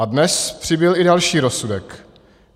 A dnes přibyl i další rozsudek.